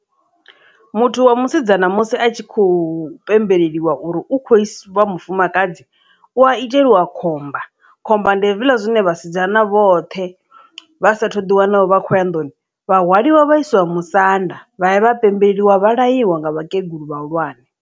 Muthu wa musidzana musi a tshi khou pembeleliwa uri u kho vha wa mufumakadzi u a iteliwa khomba khomba ndi hezwiḽa zwine vhasidzana vhoṱhe vha sa thu ḓi wana vha khou ya nḓuni vha hwaliwa vhaiswa musanda vha ya vha pembeliwa vha laiwa nga vhakegulu vhahulwane.